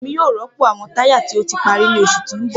Emi yoo rọpo awọn taya ti o ti pari ni oṣu ti n bọ.